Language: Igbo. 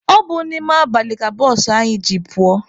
Ọ bụ n'ime abalị ka bụsụ anyị ji pụọ.